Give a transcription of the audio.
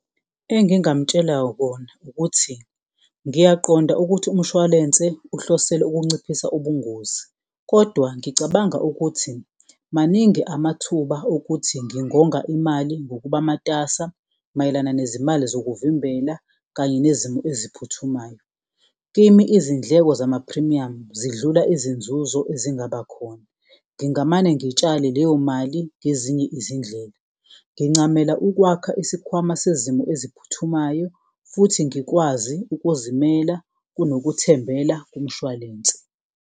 Engingamtshela kona ukuthi ngiyaqonda ukuthi umshwalense uhlosele ukunciphisa ubungozi, kodwa ngicabanga ukuthi maningi amathuba okuthi ngingonga imali ngokuba matasa mayelana nezimali zokuvimbela kanye nezimo eziphuthumayo. Kimi izindleko zamaphrimiyamu zidlula izinzuzo ezingaba khona, ngingamane ngitshale leyo mali ngezinye izindlela ngincamela ukwakha isikhwama sezimo eziphuthumayo futhi ngikwazi ukuzimela kunokuthembela kumshwalense.